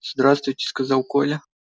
здравствуйте сказал коля